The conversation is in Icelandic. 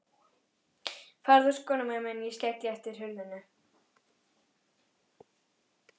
Farðu úr skónum á meðan ég skelli aftur hurðinni.